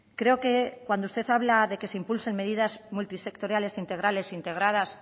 creo que cuando usted habla de que se impulse medidas multisectoriales integrales integradas